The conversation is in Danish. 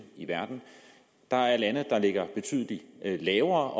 i verden der er lande der ligger betydelig lavere og